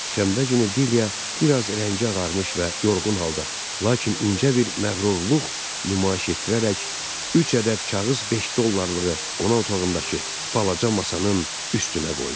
Şənbə günü Dilya biraz rəngi ağarmış və yorğun halda, lakin incə bir məğrurluq nümayiş etdirərək üç ədəd kağız beş dollarlığı qonaq otağındakı balaca masanın üstünə qoydu.